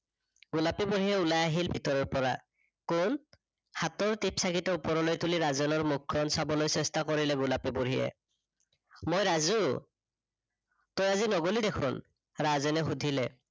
গোলাপী পেহীয়ে ওলাই আহিল ভিতৰৰ পৰা। কোন, হাতৰ টিপ চাকিটো ওপৰলৈ তুলি ৰাজেনৰ মুখ খন চাবলৈ চেষ্টা কৰিলে গোলাপী বুঢ়ীয়ে। মই ৰাজু, তই আজি নগলি দেখোন, ৰাজেনে সুধিলে